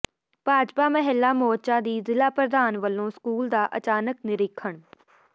ਭਾਜਪਾ ਮਹਿਲਾ ਮੋਰਚਾ ਦੀ ਜ਼ਿਲ੍ਹਾ ਪ੍ਰਧਾਨ ਵੱਲੋਂ ਸਕੂਲ ਦਾ ਅਚਾਨਕ ਨਿਰੀਖ਼ਣ